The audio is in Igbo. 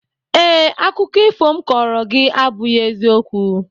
Ee, akụkọ ifo m kọọrọ gị abụghị eziokwu